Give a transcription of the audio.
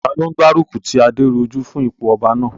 Taló n gbárùkù ti Adérójú fún ipò ọba náà?